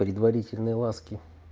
предварительные ласки